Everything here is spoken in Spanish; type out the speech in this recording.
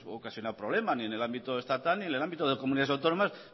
ocasionado problema ni en el ámbito estatal ni en el ámbito de comunidades autónomas